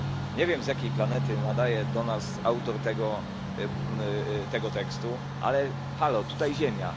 Nie wiem, z jakiej planety nadaje do nas autor tego tekstu, ale Halo, tutaj Ziemia.